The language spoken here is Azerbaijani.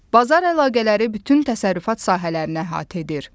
Bazar əlaqələri bütün təsərrüfat sahələrini əhatə edir.